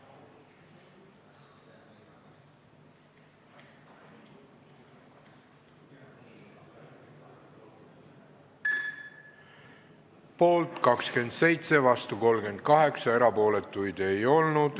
Hääletustulemused Poolt 27, vastu 38, erapooletuid ei olnud.